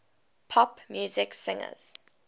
pop music singers